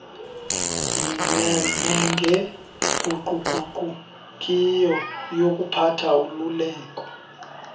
nengaguquguqukiyo yokuphatha ululeko